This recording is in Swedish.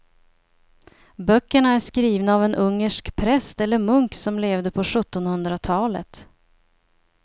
Böckerna är skrivna av en ungersk präst eller munk som levde på sjuttonhundratalet.